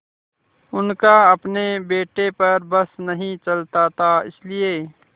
उनका अपने बेटे पर बस नहीं चलता था इसीलिए